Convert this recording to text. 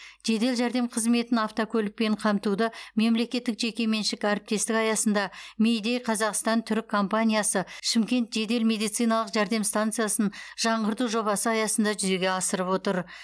жедел жәрдем қызметін автокөлікпен қамтуды мемлекеттік жекеменшік әріптестік аясында мейдей қазақстан түрік компаниясы шымкент жедел медициналық жәрдем стансиясын жаңғырту жобасы аясында жүзеге асырып отыр